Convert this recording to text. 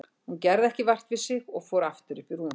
Hún gerði ekki vart við sig og fór aftur upp í rúm.